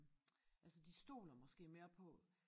Altså de stoler måske mere på